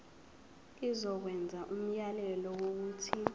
izokwenza umyalelo wokuthi